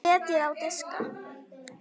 Setjið á diska.